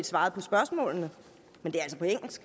svaret på spørgsmålene men